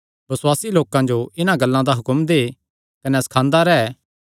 बसुआसी लोकां जो इन्हां गल्लां दा हुक्म दे कने सखांदा रैंह्